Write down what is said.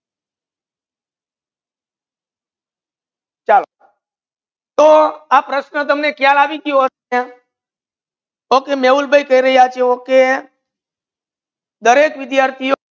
ચાલો તો આ પ્રશ્ન તમને ખયાલ આવી ગયો હસે okay મેહુલ ભાઈ પેરી આજો okay દરેક વિદ્યાર્થિઓ